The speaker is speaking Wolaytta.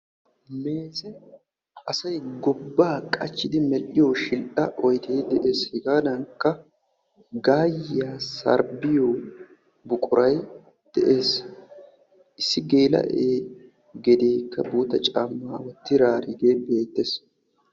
nu asay gobaa qachidi medhiyo shidhaa oydee dees. hegaadankka gaayiya sarbiyo buquray des. issi geelaee gedee caamaa wotidaarigee beetees.